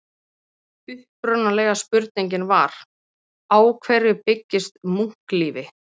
Upprunalega spurningin var: Á hverju byggist munklífi?